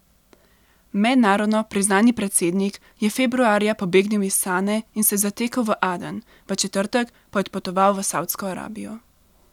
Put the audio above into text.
Mednarodno priznani predsednik je februarja pobegnil iz Sane in se zatekel v Aden, v četrtek pa je odpotoval v Savdsko Arabijo.